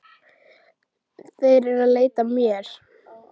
Þeir eru að leita að mér